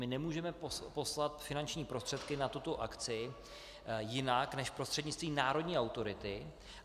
My nemůžeme poslat finanční prostředky na tuto akci jinak než prostřednictvím národní autority.